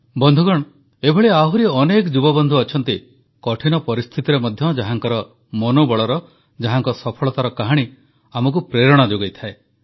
ବନ୍ଧୁଗଣ ଏପରି ଆହୁରି ଅନେକ ଯୁବବନ୍ଧୁ ଅଛନ୍ତି କଠିନ ପରିସ୍ଥିତିରେ ମଧ୍ୟ ଯାହାଙ୍କର ମନୋବଳର ଯାହାଙ୍କ ସଫଳତାର କାହାଣୀ ଆମକୁ ପ୍ରେରଣା ଯୋଗାଇଥାଏ